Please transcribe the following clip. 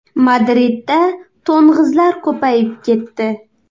Madridda to‘ng‘izlar ko‘payib ketdi.